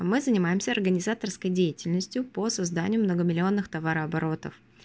мы занимаемся организаторской деятельностью по созданию многомиллионных товарооборотов